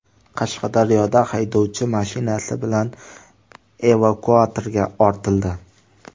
Qashqadaryoda haydovchi mashinasi bilan evakuatorga ortildi .